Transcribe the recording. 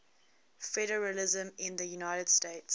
federalism in the united states